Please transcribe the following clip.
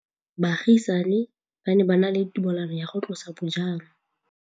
Baagisani ba ne ba na le tumalanô ya go tlosa bojang.